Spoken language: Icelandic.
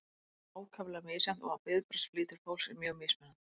þetta er þó ákaflega misjafnt og viðbragðsflýtir fólks er mjög mismunandi